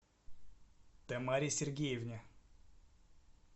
тамаре сергеевне